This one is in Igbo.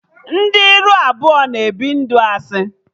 Ndị ire abụọ na-ebi ndụ asị